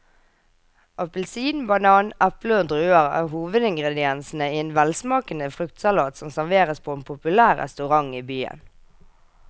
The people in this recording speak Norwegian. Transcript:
Appelsin, banan, eple og druer er hovedingredienser i en velsmakende fruktsalat som serveres på en populær restaurant i byen.